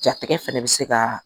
Jatigɛ fɛnɛ be se kaa